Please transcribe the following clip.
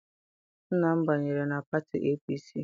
Nna m banyere na pati APC.